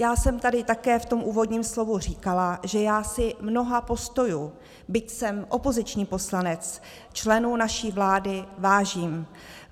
Já jsem tady také v tom úvodním slovu říkala, že já si mnoha postojů, byť jsem opoziční poslanec, členů naší vlády vážím.